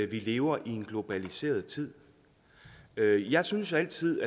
vi lever i en globaliseret tid jeg synes altid